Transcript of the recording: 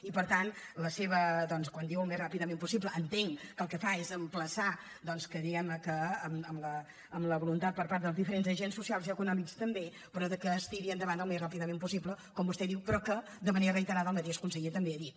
i per tant quan diu al més ràpidament possible entenc que el que fa és emplaçar que diguem ne amb la voluntat per part dels diferents agents socials i econòmics també es tiri endavant al més ràpidament possible com vostè diu però de manera reiterada el mateix conseller també ho ha dit